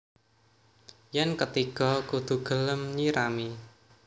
Yén ketiga kudu gelem nyirami